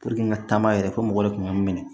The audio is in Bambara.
n ka taama yɛrɛ ko mɔgɔ de kun bɛ n minɛ